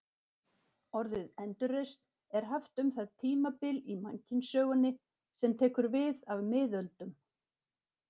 Orðið endurreisn er haft um það tímabil í mannkynssögunni sem tekur við af miðöldum.